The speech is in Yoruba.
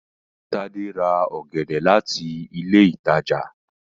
Tade rà ògèdè láti ilé ìtàjà